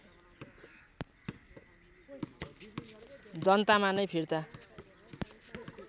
जनतामा नै फिर्ता